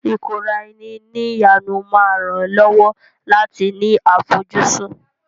Ìkóra-ẹni-ní-ìjánu máa ràn ẹ́ lọ́wọ́ láti ní àfojúsùn.